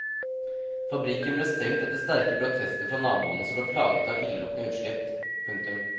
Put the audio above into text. Fabrikken ble stengt etter sterke protester fra naboene som ble plaget av illeluktende utslipp. punktum